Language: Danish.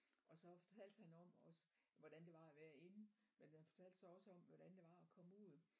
Og så fortalte han om også hvordan det var at være inde men han fortælte så også om hvordan det var at komme ud